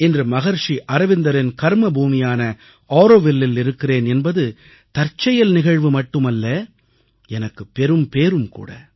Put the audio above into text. இன்று மகரிஷி அரவிந்தரின் கர்மபூமியான ஆரோவில்லில் இருக்கிறேன் என்பது தற்செயல் நிகழ்வு மட்டுமல்ல எனக்குப் பெரும்பேறும் கூட